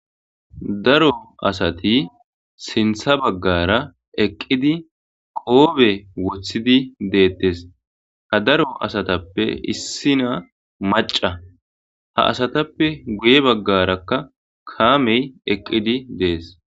daro asati sintha baggara eqqidi qoobe wothidi deettes ha daro asatappe issina maca ha asatappe guye baggarakka kaamey eqqidi dees